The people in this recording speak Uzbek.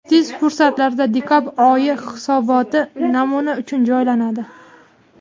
Tez fursatlarda dekabr oyi hisoboti namuna uchun joylanadi.